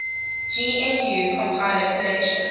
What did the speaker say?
gnu compiler collection